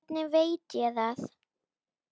Hvernig veit ég það?